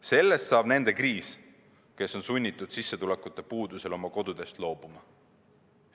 Sellest saab nende kriis, kes on sunnitud sissetulekute puuduse tõttu oma kodust loobuma.